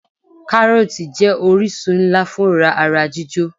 Káròòtì jé orísun nlá fún òrá ara jíjò